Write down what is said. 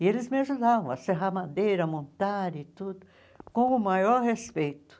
E eles me ajudavam a serrar madeira, a montar e tudo, com o maior respeito.